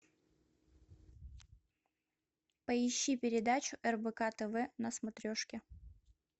поищи передачу рбк тв на смотрешке